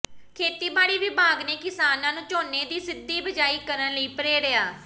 ਖੇਤੀਬਾੜੀ ਵਿਭਾਗ ਨੇ ਕਿਸਾਨਾਂ ਨੂੰ ਝੋਨੇ ਦੀ ਸਿੱਧੀ ਬਿਜਾਈ ਕਰਨ ਲਈ ਪ੍ਰੇਰਿਆ